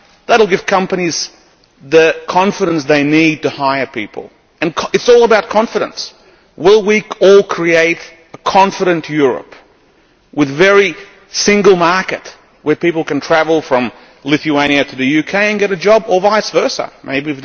That would give companies the confidence they need to hire people. It is all about confidence. Will we all create a confident Europe with a single market where people can travel from Lithuania to the UK and get a job Maybe